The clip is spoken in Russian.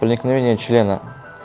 проникновение члена